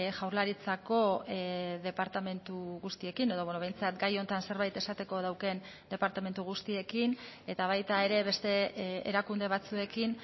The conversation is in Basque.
jaurlaritzako departamentu guztiekin edo behintzat gai honetan zerbait esateko daukan departamentu guztiekin eta baita ere beste erakunde batzuekin